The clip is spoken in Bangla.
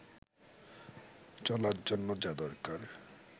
চলার জন্য যা দরকার